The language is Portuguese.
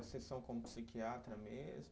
Sessão como psiquiatra mesmo?